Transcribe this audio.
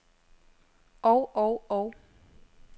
og og og